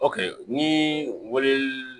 ni wele